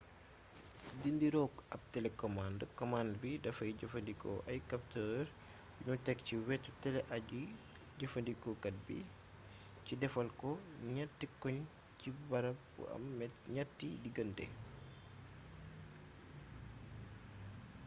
di nirook ab telekomànd komand bi dafay jëfandikoo ay kaptër yuñu tek ci wetu tele aji-jëfandikukat bi ci defal ko ñatti koñ ci barab bu am ñetti digante